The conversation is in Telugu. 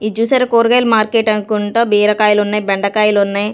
ఇది చూసారా కూరగాయలు మార్కెట్ అనుకుంటా బీరకాయలు ఉన్నాయి బెండకాయలు ఉన్నాయి.